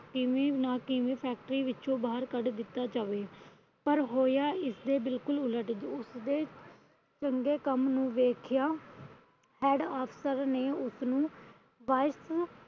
ਕਿਵੇਂ ਨ ਕਿਵੇਂ factory ਵਿੱਚੋ ਬਾਹਰ ਕੱਢ ਦਿੱਤਾ ਜਾਵੇ। ਪਰ ਹੋਇਆ ਇਸਦੇ ਬਿਲਕੁਲ ਉਲਟ। ਉਸਦੇ ਚੰਗੇ ਕੰਮ ਨੂੰ ਵੇਖਿਆ head ਅਫਸਰ ਨੇ ਉਸਨੂੰ